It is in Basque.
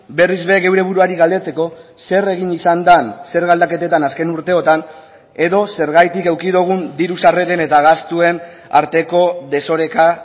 berriz ere geure buruari galdetzeko zer egin izan den zerga aldaketetan azken urteotan edo zergatik eduki dugun diru sarreren eta gastuen arteko desoreka